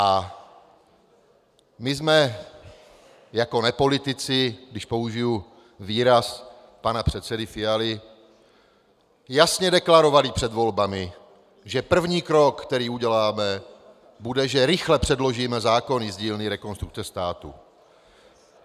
A my jsme jako nepolitici, když použiji výraz pana předsedy Fialy, jasně deklarovali před volbami, že první krok, který uděláme, bude, že rychle předložíme zákony z dílny Rekonstrukce státu.